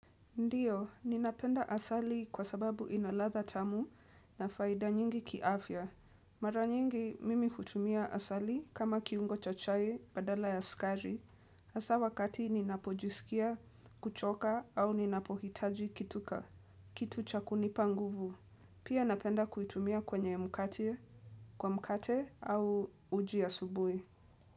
Ndiyo, ninapenda asali kwa sababu ina ladha tamu na faida nyingi kiafya. Mara nyingi mimi kutumia asali kama kiungo cha chai badala ya sukari. Hasa wakati ninapojisikia, kuchoka au ninapohitaji kitu ka, kitu cha kunipa nguvu. Pia napenda kuitumia kwenye mkate, kwa mkate au uji ya asubuhi.